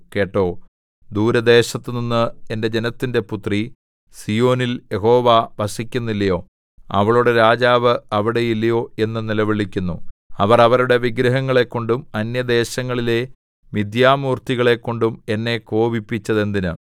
കേട്ടോ ദൂരദേശത്തുനിന്ന് എന്റെ ജനത്തിന്റെ പുത്രി സീയോനിൽ യഹോവ വസിക്കുന്നില്ലയോ അവളുടെ രാജാവ് അവിടെ ഇല്ലയോ എന്ന് നിലവിളിക്കുന്നു അവർ അവരുടെ വിഗ്രഹങ്ങളെക്കൊണ്ടും അന്യദേശങ്ങളിലെ മിഥ്യാമൂർത്തികളെക്കൊണ്ടും എന്നെ കോപിപ്പിച്ചതെന്തിന്